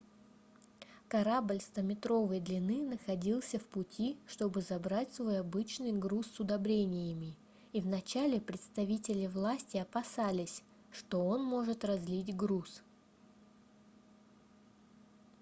корабль стометровой длины находился в пути чтобы забрать свой обычный груз с удобрениями и в начале представители власти опасались что он может разлить груз